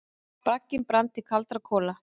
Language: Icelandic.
Bragginn brann til kaldra kola.